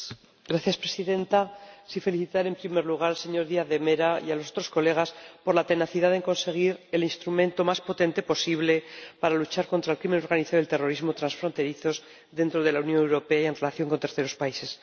Señora Presidenta, quisiera felicitar en primer lugar al señor Díaz de Mera y a los demás colegas por la tenacidad en conseguir el instrumento más potente posible para luchar contra el crimen organizado y el terrorismo transfronterizos dentro de la Unión Europea y en relación con terceros países.